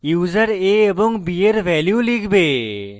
user a এবং b এর value লিখবে